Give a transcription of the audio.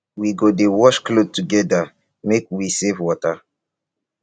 we go dey wash clothes togeda make we save water